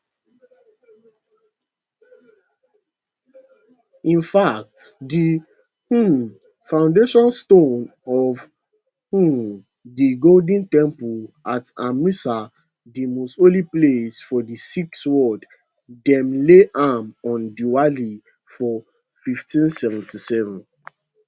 in fact di um foundation stone of um di golden temple at amritsar di most holy place for di sikh world dem lay am on diwali for1577